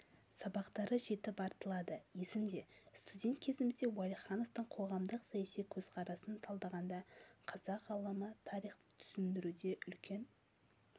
сабақтары жетіп артылады есімде студент кезімізде уәлихановтың қоғамдық-саяси көзқарасын талдағанда қазақ ғалымы тарихты түсіндіруде үлкен